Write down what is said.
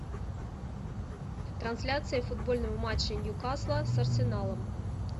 трансляция футбольного матча ньюкасла с арсеналом